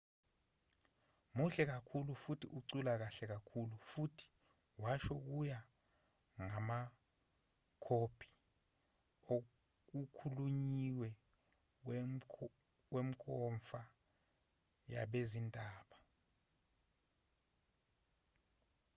muhle kakhulu futhi ucula kahle kakhulu futhi washo kuya ngamakhophi okukhulunyiwe wenkomfa yabezindaba